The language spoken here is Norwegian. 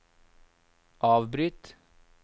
avbryt